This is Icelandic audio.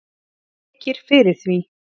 mér þykir fyrir því